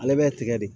Ale bɛ tigɛ de